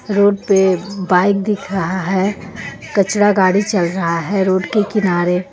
Road पे bike दिख रहा है कचरा गाड़ी चल रहा है रोड के किनारे.